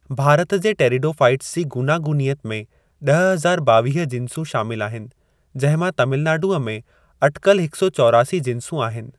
भारत जे टेरिडोफ़ाइट्स जी गूनागूनियत में ॾह हज़ार ॿावीह जिंसूं शामिल आहिनि, जंहिं मां तमिलनाडुअ में अटिकल हिक सौ चौरासी जिंसूं आहिनि।